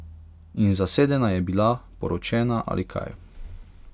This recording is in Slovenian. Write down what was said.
In zasedena je bila, poročena ali kaj.